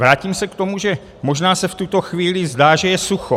Vrátím se k tomu, že možná se v tuto chvíli zdá, že je sucho.